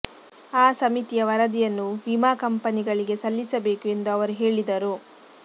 ಆ ಸಮಿತಿಯ ವರದಿಯನ್ನು ವಿಮಾ ಕಂಪನಿಗಳಿಗೆ ಸಲ್ಲಿಸಬೇಕು ಎಂದು ಅವರು ಹೇಳಿದರು